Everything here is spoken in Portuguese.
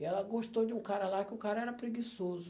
E ela gostou de um cara lá que o cara era preguiçoso.